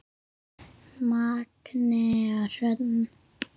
Magnea Hrönn.